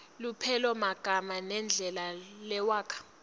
lupelomagama nendlela lewakha